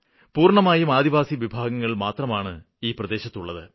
പൂര്ണ്ണമായും ആദിവാസി വിഭാഗങ്ങള് മാത്രമാണ് ഈ പ്രദേശത്തുള്ളത്